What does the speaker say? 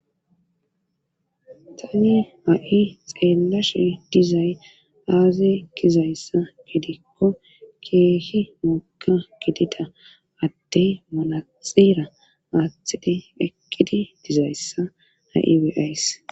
Tani ha'i xelashe dizay aze gizaysa gidiko kehi woga gidida adey manaxire athidi eqidi dizaysa ha'i be'ays